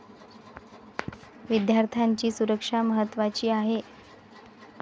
विद्यार्थ्यांची सुरक्षाही महत्त्वाची आहे.